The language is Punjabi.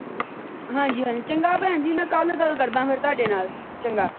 ਹਾਂ ਜੀ ਹਾਂ ਜੀ। ਚੰਗਾ ਭੈਣ ਜੀ ਮੈ ਕੱਲ ਗੱਲ ਕਰਦਾ ਫੇਰ ਤੁਹਾਡੇ ਨਾਲ ਚੰਗਾ।